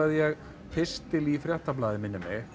ég pistil í Fréttablaðið minnir mig